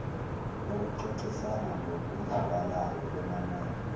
okuxoxisana ngokuzwakalayo benanele